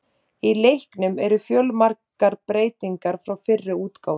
Í leiknum eru fjölmargar breytingar frá fyrri útgáfum.